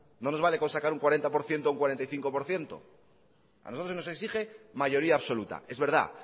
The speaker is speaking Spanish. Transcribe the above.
no nos vale con sacar un cuarenta por ciento o un cuarenta y cinco por ciento a nosotros se nos exige mayoría absoluta es verdad